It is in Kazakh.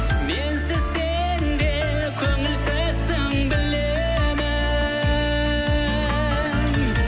менсіз сен де көңілсізсің білемін